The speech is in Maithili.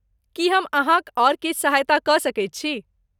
की हम अहाँक आओर किछु सहायता कऽ सकैत छी?